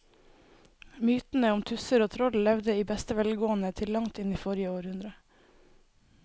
Mytene om tusser og troll levde i beste velgående til langt inn i forrige århundre.